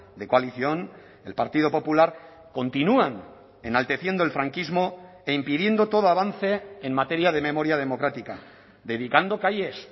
de coalición el partido popular continúan enalteciendo el franquismo e impidiendo todo avance en materia de memoria democrática dedicando calles